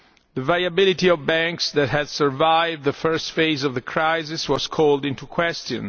the viability of banks that had survived the first phase of the crisis was called into question.